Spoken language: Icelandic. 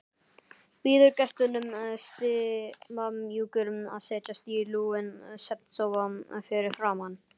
Býður gestunum stimamjúkur að setjast í lúinn svefnsófa fyrir framan.